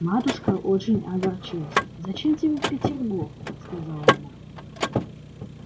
матушка очень огорчилась зачем тебе в петербург сказала она